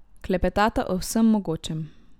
Klepetata o vsem mogočem.